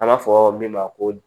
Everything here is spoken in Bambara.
An b'a fɔ min ma ko